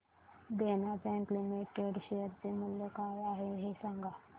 देना bank limited share चे मूल्य काय आहे हे सांगा